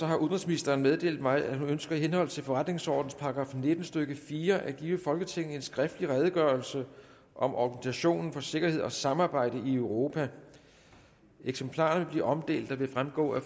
har udenrigsministeren meddelt mig at hun ønsker i henhold til forretningsordenens § nitten stykke fire at give folketinget en skriftlig redegørelse om organisationen for sikkerhed og samarbejde i europa eksemplarer vil blive omdelt og vil fremgå af